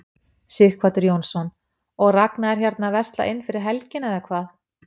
Sighvatur Jónsson: Og Ragna er hérna að versla inn fyrir helgina eða hvað?